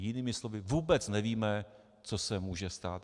Jinými slovy, vůbec nevíme, co se může stát.